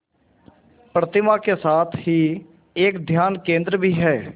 प्रतिमा के साथ ही एक ध्यान केंद्र भी है